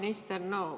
Hea minister!